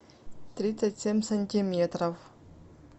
тридцать семь сантиметров